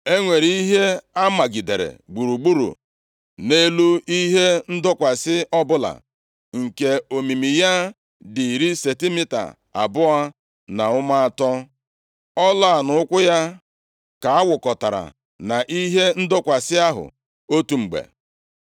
E nwere ihe a magidere gburugburu nʼelu ihe ndọkwasị ọbụla, nke omimi ya dị iri sentimita abụọ na ụma atọ. Ọla a, na ụkwụ ya, ka a wụkọtara na ihe ndọkwasị ahụ otu mgbe.